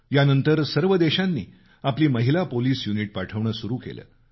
यानंतर सर्व देशांनी आपली महिला पोलीस युनिट पाठवणं सुरु केलं